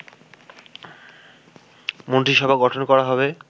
মন্ত্রিসভা গঠন করা হবে